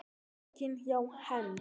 Pokinn hjá Hend